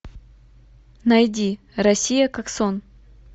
найди россия как сон